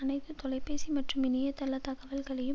அனைத்து தொலைபேசி மற்றும் இணைய தள தகவல்களையும்